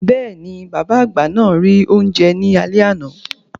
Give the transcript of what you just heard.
Bẹ́ẹ̀ni, bàbá àgbà náà rí oúnjẹ ní alé àná.